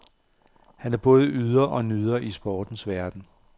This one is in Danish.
Han er både yder og nyder i sportens verden.